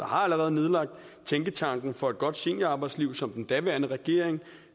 har allerede nedlagt tænketanken for et godt seniorarbejdsliv som den daværende regering